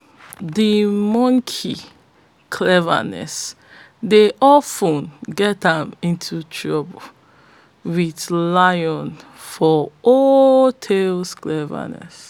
de monkey cleverness dey of ten get am into trouble wit lion for old tales